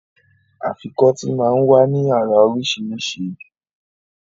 Afikọ́tì máa ń wá ní àrà oríṣiríṣi